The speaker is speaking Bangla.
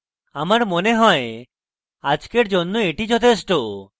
আমার মনে হয় আজকের জন্য এটি যথেষ্ঠ